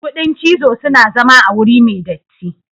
Kudin cizo suna zama a wuri me datti.